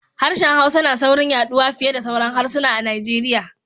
Harshen Hausa na saurin yaɗuwa fiye da sauran harsuna a Nigeria.